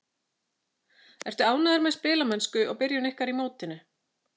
Ertu ánægður með spilamennsku og byrjun ykkar í mótinu?